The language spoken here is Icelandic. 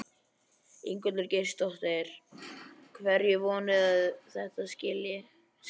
Ingveldur Geirsdóttir: Hverju vonið þið að þetta skili?